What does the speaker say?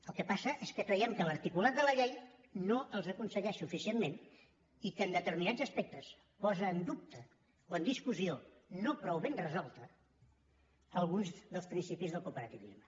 el que passa és que creiem que l’articulat de la llei no els aconsegueix suficientment i que en determinats aspectes posa en dubte o en discussió no prou ben resolta alguns dels principis del cooperativisme